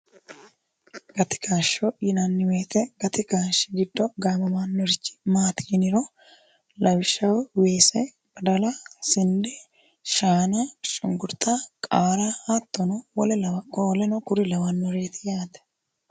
gati kaashsho yinanni woyite gati kaashshi giddo gaamomannorchi maati yiniro lawishshaho weese badala sinde shaana sunkrta qaara hattono woleno kuri lawannoreeti yaate